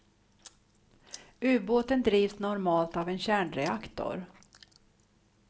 Ubåten drivs normalt av en kärnreaktor.